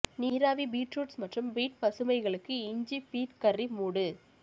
நீராவி beet roots மற்றும் beet பசுமைகளுக்கு இஞ்சி பீட் கர்ரி மூடு